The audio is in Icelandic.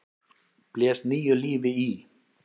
blés nýju lífi í.